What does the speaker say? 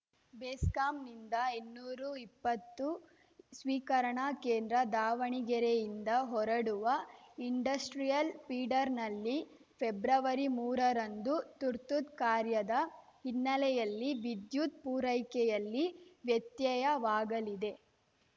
ಬೆಸ್ಕಾಂನಿಂದ ಇನ್ನೂರು ಇಪ್ಪತ್ತು ಸ್ವೀಕರಣಾ ಕೇಂದ್ರ ದಾವಣಗೆರೆಯಿಂದ ಹೊರಡುವ ಇಂಡಸ್ಟ್ರಿಯಲ್‌ ಫೀಡರ್‌ನಲ್ಲಿ ಫೆಬ್ರವರಿಮೂರರಂದು ತುರ್ತು ಕಾರ್ಯದ ಹಿನ್ನಲೆಯಲ್ಲಿ ವಿದ್ಯುತ್‌ ಪೂರೈಕೆಯಲ್ಲಿ ವ್ಯತ್ಯಯವಾಗಲಿದೆ